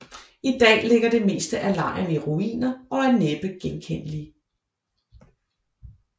I dag ligger det meste af lejren i ruiner og er næppe genkendelig